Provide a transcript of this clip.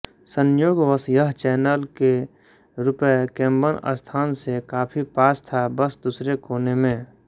संयोगवश यह चैनल के रु केम्बन स्थान से काफी पास था बस दूसरे कोने में